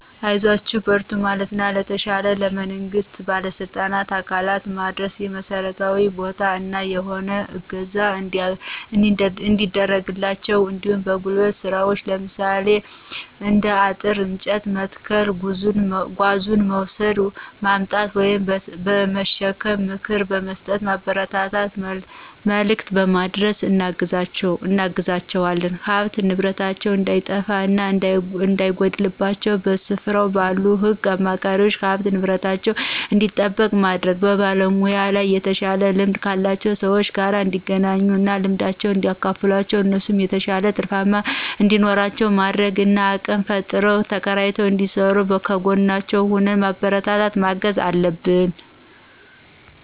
አይዟችሁ በርቱ በማለትና ለተሻለ ለመንግስት ባለስልጣን አካላት በማድረስ የመስርያ ቦታ እና የሆነ እገዛ እንዲያደርግላቸው እንዲሁም በጉልበት ስራዎች ለምሳሌ እንደ አጥር፤ እንጨት መትከል ጓዙን መውስድ ማምጣት/በመሸከም ምክር በምስጠት ማበረታታት መልክት በማድረስ እናግዛቸዋለን። ሀብት ንብረታቸው እንዳይጠፋ እና እንዳይጎድልባቸው በስፍር ባሉ ህግ አስክባሪዎች ሀብት ንብረታቸው እንዲጠበቅ ማድረግ። በሙያው ላይ የተሻለ ልምድ ካላቸው ሰዎች ጋር እንዲገናኙ እና ልምዳቸውን እንዲያካፍሏቸው እነሱም የተሻለ ትርፍ እንዲኖራቸው ማድረግ እና አቅም ፈጥረው ተከራይተው እንዲስሩ ከጎናቸው ሁነን በማበረታታት ማገዝ አለብን።